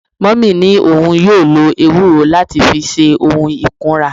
Mummy ni oun yoo lo ewuro lati fi se ohun ikunra